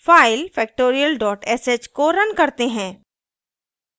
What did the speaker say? file factorial sh को run करते हैं